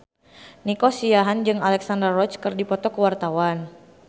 Nico Siahaan jeung Alexandra Roach keur dipoto ku wartawan